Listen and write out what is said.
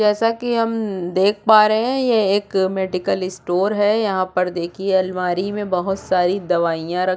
जैसे की हम देख पा रहै है यह एक मेडिकल स्टोर है यहाँ पर देखिये लमारी में बहुत सारी दवाईयां रख --